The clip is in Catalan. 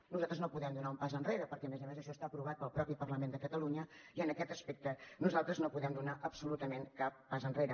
nosaltres no podem donar un pas enrere perquè a més a més això està aprovat pel mateix parlament de catalunya i en aquest aspecte nosaltres no podem donar absolutament cap pas enrere